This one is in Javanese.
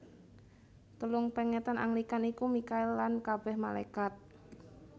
Telung pèngetan Anglikan iku Mikhael lan kabèh Malékat